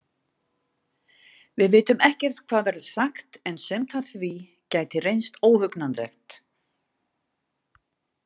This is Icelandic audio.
Við vitum ekkert hvað verður sagt en sumt af því gæti reynst óhugnanlegt.